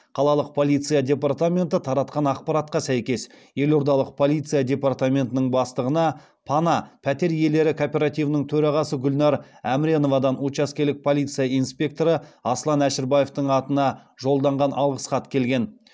қалалық полиция департаменті таратқан ақпаратқа сәйкес елордалық полиция департаментінің бастығына пана пәтер иелері кооперативінің төрағасы гүлнар әміреновадан учаскелік полиция инспекторы асылан әшірбаевтің атына жолданған алғыс хат келген